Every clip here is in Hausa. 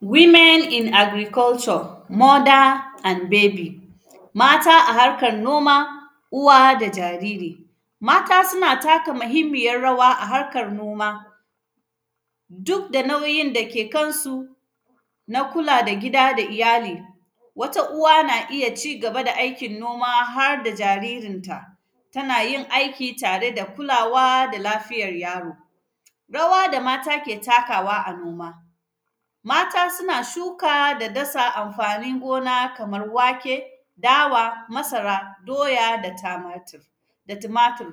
“Women in agriculture, mother and baby”, mata a harkan noma, uwa da jariri. Mata suna taka mihimmiyar rawa a harkar noma, duk da nauyin da ke kansu na kula da gida da iyali. Wata uwa, na iya ci gaba da aikin noma har da jaririnta. Tana yin aiki tare da kulawa da lafiyar yaro. Rawa da mata ke takawa a noma, mata sina shuka da dasa amfanin gona kamar wake, dawa, masara, doya da tamatir, da tumatir.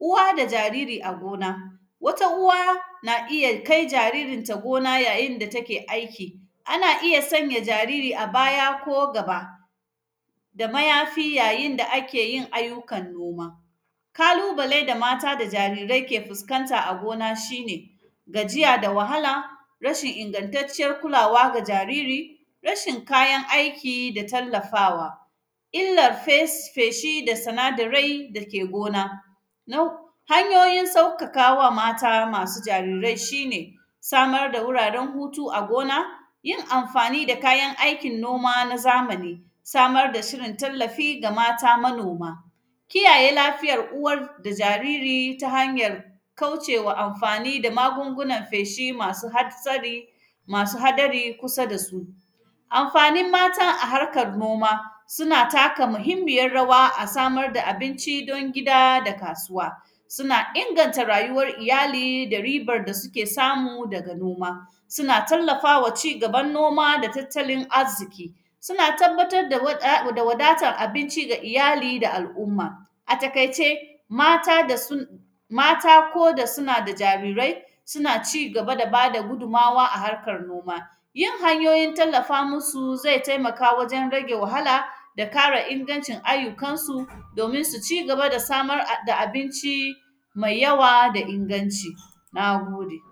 Uwa da jariri a gona, wata uwa na iya kai jaririnta gona yayin da take aiki. Ana iya sanya jariri a baya ko gaba, da mayafi yayin da ake yin ayyukan noma. Kalubale da mata da jarirai ke fiskanta a gona, shi ne gajiya da wahala, rashin ingantacciyar kulawa ga jariri, rashin kayan aiki da tallafawa. Illar fes feshi da sanadarai dake gona, na h; hanyoyin saukaka wa mata masu jarirai, shi ne samar da wuraren hutu a gona, yin amfani da kayan aikin noma na zamani, samar da shirin tallafi ga mata manoma, kiyaye lafiyar uwar da jariri ta hanyan kauce wa amfani da magungunan feshi masu hatsari, masu hadari kusa da su. Amfanin mata a harkar noma, suna taka muhimmiyar rawa a samar da abinci don gida da kasuwa. Suna inganta rayuwar iyali da ribar da sike samu daga noma, sina tallafa ma cigaban noma da tattalin azziki. Sina tababbatad da wad; a, da wadatar abinci ga iyali da al’umma. A takaice, mata da sun, mata ko da sina da jarirai, sina ci gaba da ba da gudummawa a harkar noma. Yin hanyoyin tallafa musu, zai temaka wajen rage wahala da kara inagncin ayyukansu, domin su ci gaba da samar a; da abinci mai yawa da inganci, na gode.